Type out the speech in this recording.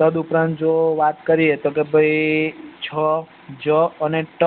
તદ ઉપરાંત જો વાત કરીએ તો ભાઈ છ જ અને ટ